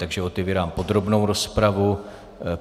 Takže otevírám podrobnou rozpravu.